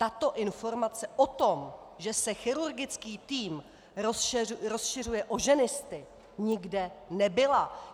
Tato informace o tom, že se chirurgický tým rozšiřuje o ženisty, nikde nebyla!